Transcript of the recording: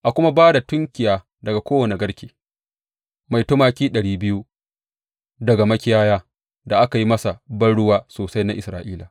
A kuma ba da tunkiya daga kowane garke mai tumaki ɗari biyu daga makiyaya da aka yi masa banruwa sosai na Isra’ila.